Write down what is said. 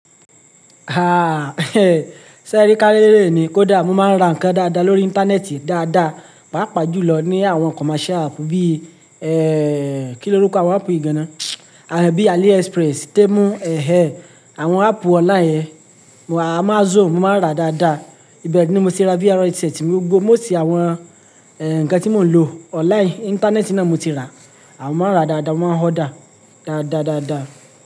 Ah, sẹ́ri ka réré ni, kódà mo máa ń ra nǹkan dáadáa lórí íńtánẹ́ẹ̀tì dáadáa, pàápàá jùlọ ní àwọn commercial app bí, ẹ, kí lorúkọ àwọn app yìí gan-an náà? Bií AliExpress, Temu, ẹhe! Àwọn app online yen, Amazon mo máa ń rà dáadáa. Bẹ̀eni mo ti ra VR headset mi gbogbo, most àwọn, ẹ, nǹkan tí mò ń lò online, íńtánẹ́ẹ̀tì náà mo ti rà. À, mo máa ń rà dáadáa, mo mọ́n máa ń order dáadáadáadáa.